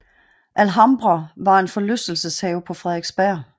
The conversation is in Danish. Alhambra var en forlystelseshave på Frederiksberg